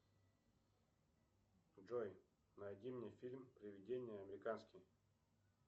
джой найди мне фильм привидение американский